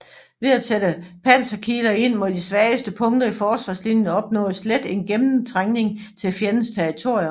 Ved at sætte panserkiler ind mod de svageste punkter i forsvarslinjen opnåedes let en gennemtrængning til fjendens territorium